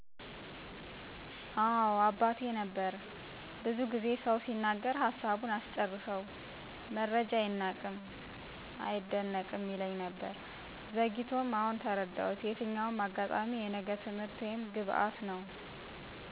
አወ ነበር አባቴ ነበር። ብዙ ጊዜ ሰው ሲናገር ሀሳቡን አስጨርሰው መረጃ አይናቅም አይደነቅም ይለኝ ነበር። ዘግይቶ አሁን ተረዳሁት የትኛውም አጋጣሚ የነገ ትምህርት ወይም ግባት ነው።